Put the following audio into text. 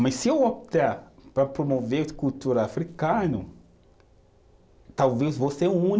Mas se eu optar para promover a cultura africano, talvez eu vou ser